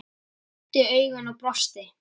Beint í augun og brosti.